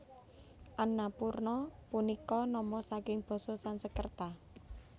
Annapurna punika nama saking basa Sansekerta